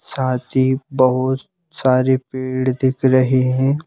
साथ ही बहुत सारे पेड़ दिख रहे हैं।